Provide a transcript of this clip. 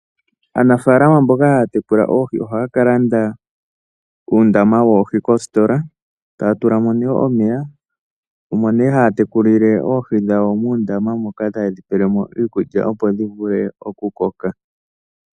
Aanafalama mboka haa tekula oohi ohaa kalanda uundama woohi koositola, taa tulamo nee omeya omo nee haa tekulile oohi dhawo muundama moka taye dhi pelemo iikulya opo dhivule okukoka.